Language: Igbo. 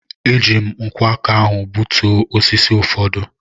E ji m nkwọ aka ahụ gbutuo osisi ụfọdụ.